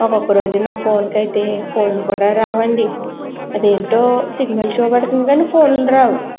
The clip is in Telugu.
ఒక్కొక్క రోజున నా ఫోన్ కయితే ఫోన్ కూడా రావు. అది ఏంటో సిగ్నల్ చూపెడుతుందని ఫోన్ లు రావు.